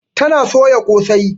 Ta na soya kosai.